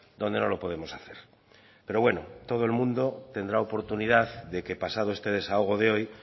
donde no lo podemos hacer pero bueno todo el mundo tendrá oportunidad de que pasado este desahogo de hoy